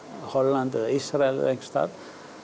Hollandi eða Ísrael eða einhvers staðar